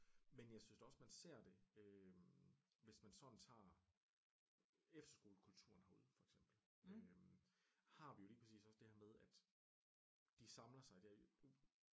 Men jeg synes da også man ser det øh hvis man sådan tager efterskolekulturen herude for eksempel øh har vi jo lige præcis også det her med at de samler sig